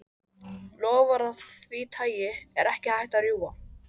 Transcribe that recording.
Loforð af því tagi er ekki hægt að rjúfa.